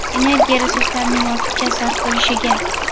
energiya resurslarning ortiqcha sarf bo‘lishiga;.